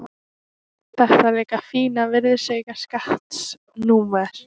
Þetta líka fína virðisaukaskattsnúmer.